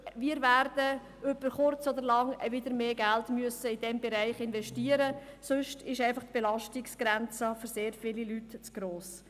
Wir werden über kurz oder lang wieder mehr Geld in diesen Bereich investieren müssen, sonst ist die Belastungsgrenze für sehr viele Leute zu gross.